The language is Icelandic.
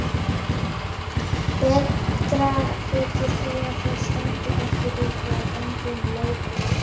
Betra þykir því að þeir standi ekki upp eða gangi um leið og lent er.